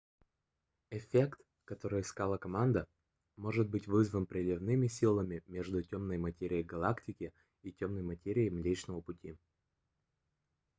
эффект который искала команда может быть вызван приливными силами между тёмной материей галактики и тёмной материей млечного пути